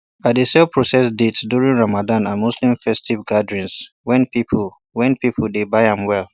i dey sell processed dates during ramadan and muslim festive gatherings when people when people dey buy am well